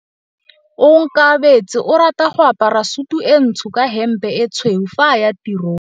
Onkabetse o rata go apara sutu e ntsho ka hempe e tshweu fa a ya tirong.